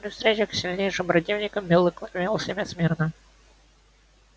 при встречах с сильнейшим противником белый клык вёл себя смирно